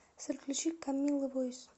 салют включи камила войс